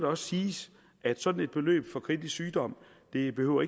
også siges at sådan et beløb for kritisk sygdom ikke behøver